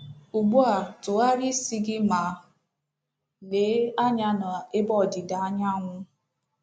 Ugbu a tụgharịa isi gị ma lee anya n’ebe ọdịda anyanwụ.